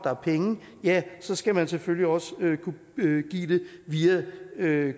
har penge så skal man selvfølgelig også kunne give det via